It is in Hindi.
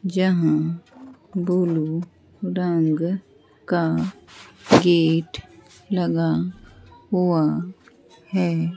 यहां ब्लू रंग का गेट लगा हुआ है।